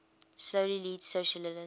slowly leads socialism